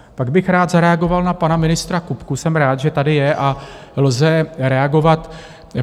Pak bych rád zareagoval na pana ministra Kupku - jsem rád, že tady je a lze reagovat.